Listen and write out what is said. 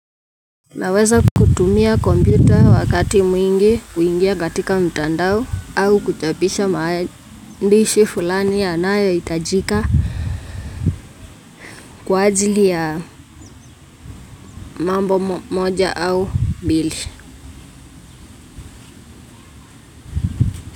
Naweza kutumia komputer wakati mwingi kuingia katika mtandao au kuchapisha maandishi fulani yanayo itajika kwa ajili ya mambo moja au mbili.